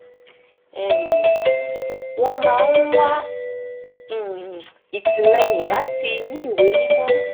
um wọ́n máa ń wá um ìtìlẹ́yìn látinú ìwé mímọ́